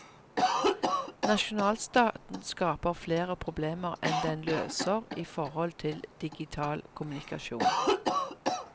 Nasjonalstaten skaper fler problemer enn den løser i forhold til digital kommunikasjon.